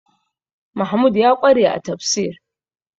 Mahmud ya ƙware a tafsir